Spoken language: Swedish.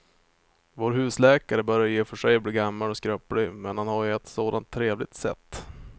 Vår husläkare börjar i och för sig bli gammal och skröplig, men han har ju ett sådant trevligt sätt!